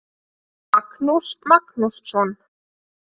Magnús Magnússon.